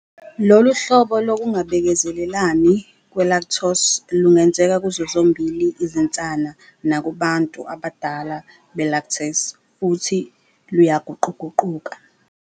Lolu hlobo lokungabekezelelani kwe-lactose lungenzeka kuzo zombili izinsana nakubantu abadala be-lactase futhi luyaguquguquka.